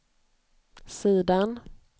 sidan